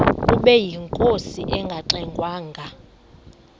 ubeyinkosi engangxe ngwanga